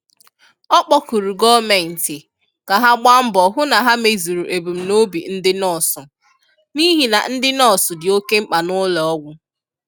Ọ kpọkụrụ gọọmenti ka ha gbaa mbọ hụ na ha mezuru ebumnobi ndị nọọsụ, n’ihi na ndị nọọsụ dị oke mkpa n’ụlọọgwụ.